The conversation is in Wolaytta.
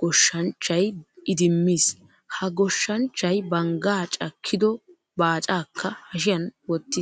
goshshanchchay idimmiis. Ha goshshanchchay banggaa cakkido baacaakka hashiyan wottiis.